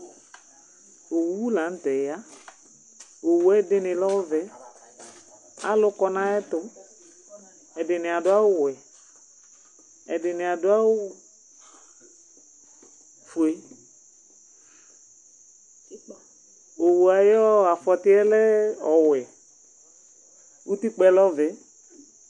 owu lantɛ ya, owue ɛdɩ nɩ lɔvɛ, alʋ kɔ nayɛtʋ, ɛdɩ nɩadʋ awʋ wɛ, ɛdɩ nɩadʋ awʋ fue, owua yɔ afɔtɩɛ lɛ ɔwɛ, utikpɛ lɔvɛ